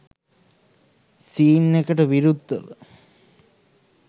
scene එකට විරුද්ධව